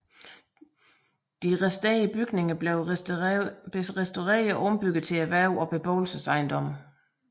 De resterende bygninger blev restaureret og ombygget til erhverv og beboelsesejendom